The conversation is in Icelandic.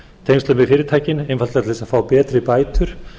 tengslum við fyrirtækin einfaldlega til að fá betri bætur